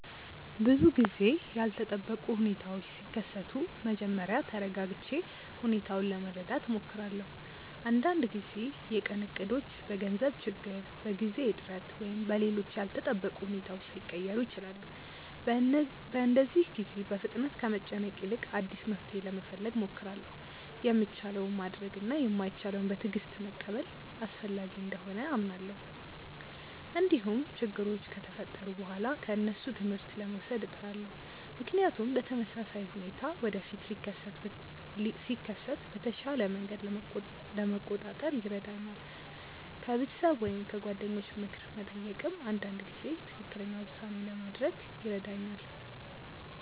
ብዙ ጊዜ ያልተጠበቁ ሁኔታዎች ሲከሰቱ መጀመሪያ ተረጋግቼ ሁኔታውን ለመረዳት እሞክራለሁ። አንዳንድ ጊዜ የቀን እቅዶች በገንዘብ ችግር፣ በጊዜ እጥረት ወይም በሌሎች ያልተጠበቁ ሁኔታዎች ሊቀየሩ ይችላሉ። በእንደዚህ ጊዜ በፍጥነት ከመጨነቅ ይልቅ አዲስ መፍትሔ ለመፈለግ እሞክራለሁ። የሚቻለውን ማድረግ እና የማይቻለውን በትዕግስት መቀበል አስፈላጊ እንደሆነ አምናለሁ። እንዲሁም ችግሮች ከተፈጠሩ በኋላ ከእነሱ ትምህርት ለመውሰድ እጥራለሁ፣ ምክንያቱም ተመሳሳይ ሁኔታ ወደፊት ሲከሰት በተሻለ መንገድ ለመቆጣጠር ይረዳኛል። ከቤተሰብ ወይም ከጓደኞች ምክር መጠየቅም አንዳንድ ጊዜ ትክክለኛ ውሳኔ ለማድረግ ይረዳኛል።